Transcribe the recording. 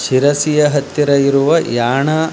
ಶಿರಸಿಯ ಹತ್ತಿರ ಇರುವ ಯಾಣ --